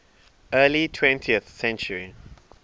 early twentieth century